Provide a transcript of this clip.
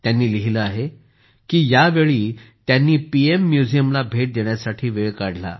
त्यांनी लिहिले आहे की यावेळी त्यांनी पीएम म्युझियमला भेट देण्यासाठी वेळ काढला